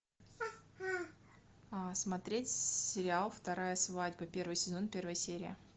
смотреть сериал вторая свадьба первый сезон первая серия